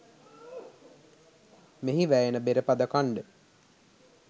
මෙහි වැයෙන බෙරපද ඛණ්ඩ